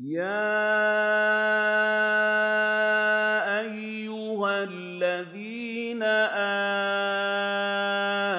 يَا أَيُّهَا الَّذِينَ